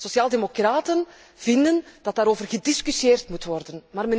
Sociaaldemocraten vinden dat daarover gediscussieerd moet worden.